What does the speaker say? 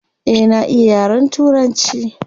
Eh na iya yaren turanci.